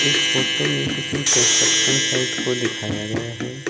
इस फोटो में किसी कंस्ट्रक्शन साइट को दिखाया गया है।